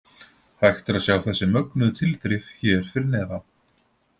Hægt er að sjá þessi mögnuðu tilþrif hér fyrir neðan.